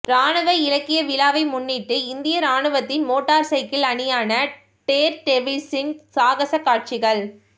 இராணுவ இலக்கிய விழாவை முன்னிட்டு இந்திய இராணுவத்தின் மோட்டார் சைக்கிள் அணியான டேர்டெவில்ஸின் சாகச காட்சிகள்